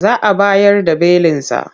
Za a bayar da belinsa.